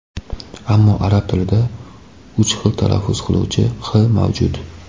Ammo arab tilida uch xil talaffuz qilinuvchi h mavjud.